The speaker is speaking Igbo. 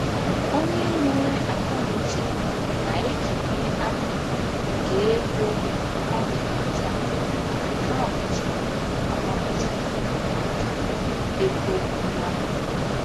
Onye nwere akọnuche na-ekenye akụkụ nke ego ọ na-enweta na akaụntụ ọ mapụtara maka "ego mgbapu".